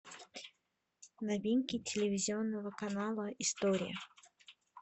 новинки телевизионного канала история